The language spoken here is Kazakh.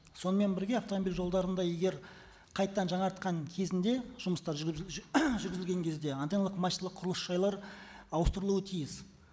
сонымен бірге автомобиль жолдарында егер қайтадан жаңартқан кезінде жұмыстар жүргізілген кезде антенналық мачталық құрылыс жайлар ауыстырылуы тиіс